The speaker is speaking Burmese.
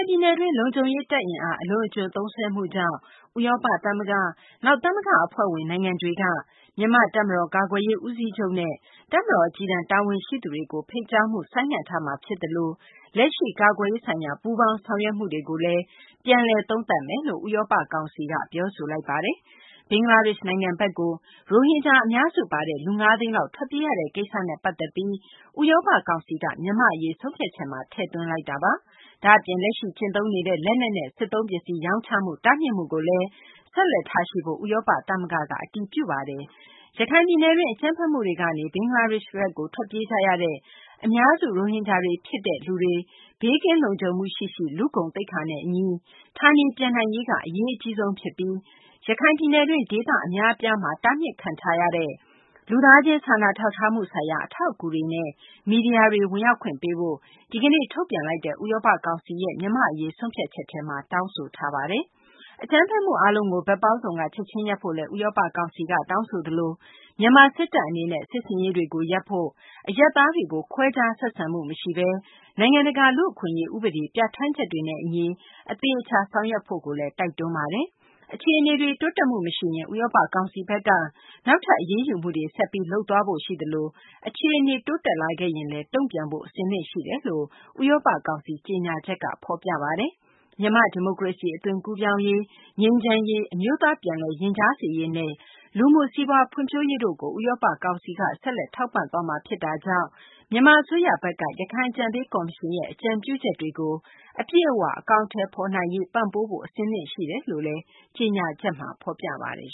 င်ပြည်နယ်တွင်းမှာ လုံခြုံရေး တပ် အင်အား အလွန်အကျွံသုံးစွဲမှုကြောင့် ဥရောပ သမဂ္ဂ၊ နောက် သမဂ္ဂ အဖွဲ့ဝင် နိုင်ငံတွေက မြန်မာ့ တပ်မတော် ကာကွယ်ရေး ဦးစီးချုပ်နဲ့ တပ်မတော် အကြီးတန်း တာဝန်ရှိသူတွေကို ဖိတ်ကြားမှု ဆိုင်းငံ့ထားမှာ ဖြစ်သလို လက်ရှိ ကာကွယ်ရေးဆိုင်ရာ ပူးပေါင်းဆောင်ရွက်မှုတွေကိုလည်း ပြန်လည် သုံးသပ်မယ်လို့ ဥရောပ ကောင်စီက ပြောဆိုလိုက်ပါတယ်။ ဘင်္ဂလားဒေရှ့်ဘက်ကို ရိုဟင်ဂျာတွေအများစု ပါဝင်တဲ့လူပေါင်း ၅ သိန်းနီးပါးထွက်ပြေးရတဲ့ကိစ္စနဲ့ ပတ်သက်ပြီးဥရောပ ကောင်စီက မြန်မာ့အရေး ဆုံးဖြတ်ချက်ထဲမှာ ထည့်သွင်းလိုက်တာပါ။ ဒါ့အပြင် လက်ရှိ ကျင့်သုံးနေတဲ့ လက်နက်နဲ့ စစ်သုံးပစ္စည်း ရောင်းချမှု တားမြစ်မှုကိုလည်း ဆက်လက်ထားရှိဖို့ ဥရောပ သမဂ္ဂက အတည်ပြုလိုက်ပါတယ်။ ရခိုင်ပြည်နယ်တွင်း အကြမ်းဖက်မှုတွေကနေ ဘင်္ဂလားဒေရှ့်ဘက်ကို ထွက်ပြေးကြရတဲ့ အများစု ရိုဟင်ဂျာတွေ ဖြစ်ကြတဲ့ လူပေါင်း ၅ သိန်းနီးပါးတို့ ဘေးကင်းလုံခြုံမှုရှိရှိ လူ့ဂုဏ်သိက္ခာနဲ့ အညီ ဌာနေပြန်နိုင်ရေးက အရေးအကြီးဆုံး ဖြစ်ပြီး ရခိုင်ပြည်နယ်တွင်း ဒေသ အများအပြားမှာ တားမြစ်ခံထားရတဲ့ လူသားချင်း စာနာထောက်ထားမှု ဆိုင်ရာ အထောက်အကူတွေနဲ့ မီဒီယာတွေ ဝင်ရောက်ခွင့် ပေးဖို့ ဒီကနေ့ ထုတ်ပြန်လိုက်တဲ့ ဥရောပ ကောင်စီရဲ့ မြန်မာ့အရေး ဆုံးဖြတ်ချက်ထဲမှာ တောင်းဆိုထားပါတယ်။ အကြမ်းဖက်မှု အားလုံးကို ဘက်ပေါင်းစုံက ချက်ချင်းရပ်ဖို့လည်း ဥရောပ ကောင်စီက တောင်းဆိုသလို မြန်မာ စစ်တပ် အနေနဲ့ စစ်ဆင်ရေးတွေကို ရပ်ဖို့၊ အရပ်သားတွေကို ခွဲခြားဆက်ဆံမှု မရှိဘဲ နိုင်ငံတကာ လူ့အခွင့်အရေး ဥပဒေ ပြဌာန်းချက်တွေနဲ့ အညီ အသေအချာ ဆောင်ရွက်ဖို့လည်း တိုက်တွန်းထားပါတယ်။ အခြေအနေတွေ တိုးတက်မှု မရှိရင် ဥရောပ ကောင်စီဘက်က နောက်ထပ် အရေးယူမှုတွေ ဆက်ပြီး လုပ်သွားဖို့ ရှိသလို အခြေအနေတွေ တိုးတက်လာခဲ့ရင်လည်း တုံ့ပြန်ဖို့ အဆင်သင့်ရှိနေပါတယ်လို့ ဥရောပ ကောင်စီ ကြေညာချက်က ပြောပါတယ်။ မြန်မာ့ ဒီမိုကရေစီ အသွင်ကူးပြောင်းရေး၊ ငြိမ်းချမ်းရေး၊ အမျိုးသား ပြန်လည်ရင်ကြားစေ့ရေးနဲ့ လူမှု စီးပွားဖွံ့ဖြိုးရေးတို့ကို ဥရောပ ကောင်စီဘက်က ဆက်လက် ထောက်ပံ့သွားမှာ ဖြစ်တာကြောင့် မြန်မာ အစိုးရဘက်က ရခိုင်အကြံပေး ကော်မရှင်ရဲ့ အကြံပြုချက်တွေကို အပြည့်အ၀ အကောင်အထည်ဖော် နိုင်ရေး ပံ့ပိုးဖို့ အဆင်သင့် ရှိနေတယ်လို့လည်း ကြေညာချက်က ဖော်ပြပါတယ်